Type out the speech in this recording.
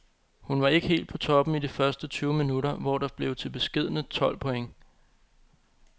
Hun var ikke helt på toppen i de første tyve minutter, hvor det blev til beskedne tolv point.